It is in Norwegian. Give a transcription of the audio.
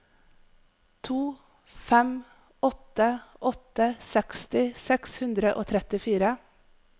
to fem åtte åtte seksti seks hundre og trettifire